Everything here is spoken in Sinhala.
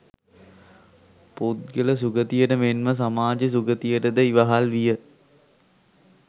පුද්ගල සුගතියට මෙන්ම සමාජ සුගතියටද ඉවහල් විය.